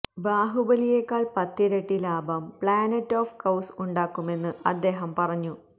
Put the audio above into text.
ബാഹുബലിയേക്കാള് പത്തിരട്ടി ലാഭം planet of cows ഉണ്ടാക്കുമെന്ന് അദ്ദേഹം പറഞ്ഞു